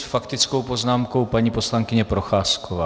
S faktickou poznámkou paní poslankyně Procházková.